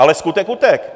Ale skutek utek.